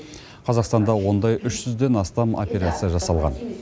қазақстанда ондай үш жүзден астам операция жасалған